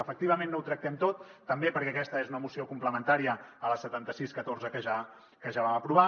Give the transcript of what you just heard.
efectivament no ho tractem tot també perquè aquesta és una moció complementària a la setanta sis catorze que ja vam aprovar